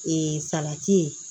Ee salati ye